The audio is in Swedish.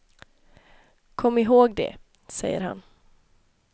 Kom ihåg det, säger han.